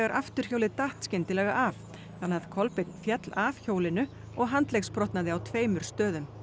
afturhjólið datt skyndilega af þannig að Kolbeinn fell af hjólinu og handleggsbrotnaði á tveimur stöðum